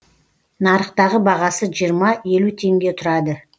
нарықтағы бағасы жиырма елу теңге тұрады